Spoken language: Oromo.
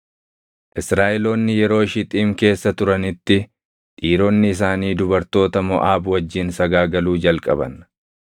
Israaʼeloonni yeroo Shixiim keessa turanitti dhiironni isaanii dubartoota Moʼaab wajjin sagaagaluu jalqaban.